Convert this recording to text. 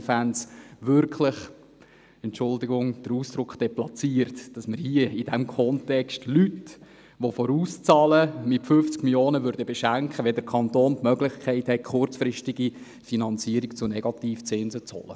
Deshalb fände ich es deplatziert, vorauszahlende Leute mit 50 Mio. Franken zu beschenken, wenn der Kanton die Möglichkeit hat, eine kurzfristige Finanzierung zu Negativzinsen zu beschaffen.